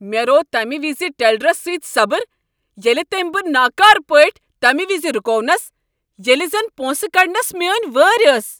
مےٚ روو تمہِ وِزِ ٹیلرس سۭتی صبر ییٚلہ تٔمۍ مےٚ ناكارٕ پٲٹھۍ تمہِ وِزِ رُكوونس ییلہِ زن پونسہٕ كڈنس میٲنۍ وٲرۍ ٲس۔